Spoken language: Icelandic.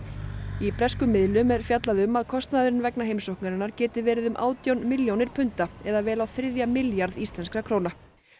í breskum miðlum er fjallað um að kostnaðurinn vegna heimsóknarinnar geti verið um átján milljónir punda eða vel á þriðja milljarð íslenskra króna